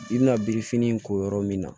I bina birifinin in ko yɔrɔ min na